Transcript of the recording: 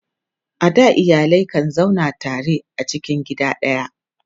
a da iyalai kan zauna tare a cikin gida daya